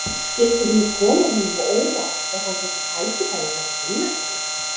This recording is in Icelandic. Skyldi hún koma honum á óvart ef hann fengi tækifæri til að kynnast henni?